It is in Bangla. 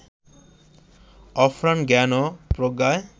অফুরান জ্ঞান ও প্রজ্ঞায়